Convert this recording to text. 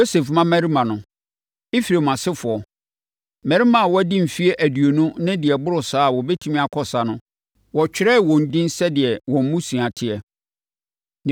Yosef mmammarima no: Efraim asefoɔ: Mmarima a wɔadi mfeɛ aduonu ne deɛ ɛboro saa a wɔbɛtumi akɔ ɔsa no, wɔtwerɛɛ wɔn edin sɛdeɛ wɔn mmusua teɛ.